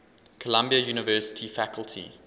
columbia university faculty